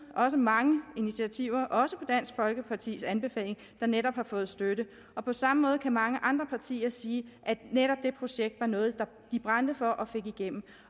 mange initiativer også på dansk folkepartis anbefaling der netop har fået støtte og på samme måde kan mange andre partier sige at netop det projekt var noget de brændte for og fik igennem